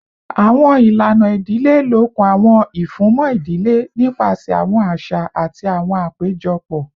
Awọn ilana idile lokun awọn ifunmọ idile nipasẹ awọn aṣa ati awọn apejọpọ